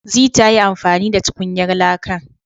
Zee ta yi amfani da tukunyar lakan